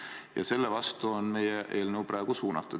Ja selle vastu on meie eelnõu praegu suunatud.